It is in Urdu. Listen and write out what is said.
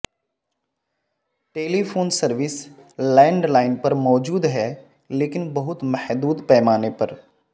ٹیلی فون سروس لینڈ لائن پر موجود ہے لیکن بہت محدود پیمانے پر